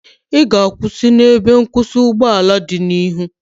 Ị ga-akwụsị n'ebe nkwụsị ụgbọala dị n'ihu?